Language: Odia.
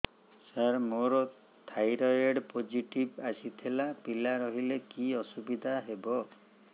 ସାର ମୋର ଥାଇରଏଡ଼ ପୋଜିଟିଭ ଆସିଥିଲା ପିଲା ରହିଲେ କି ଅସୁବିଧା ହେବ